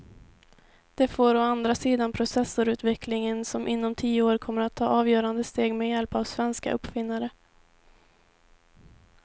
Det får å andra sidan processorutvecklingen som inom tio år kommer att ta avgörande steg med hjälp av svenska uppfinnare.